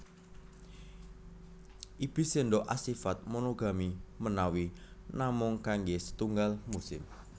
Ibis sendok asifat monogami menawi namung kangge setunggal musim